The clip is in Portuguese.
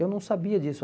Eu não sabia disso.